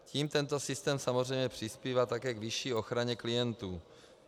Tím tento systém samozřejmě přispívá také k vyšší ochraně klientů.